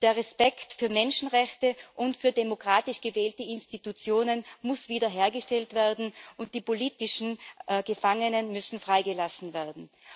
Der Respekt für Menschenrechte und für demokratisch gewählte Institutionen muss wiederhergestellt werden, und die politischen Gefangenen müssen freigelassen werden.